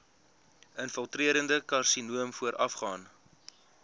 infiltrerende karsinoom voorafgaan